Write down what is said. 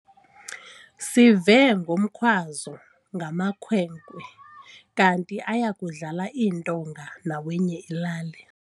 Sive ngomkhwazo ngamakhwenkwe kanti aya kudlala iintonga nawenye ilali.